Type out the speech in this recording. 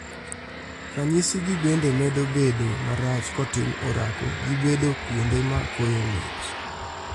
Ranyisi gi bende medo bedo marach kotim orako gi bedo kuonde ma koyo ng'ich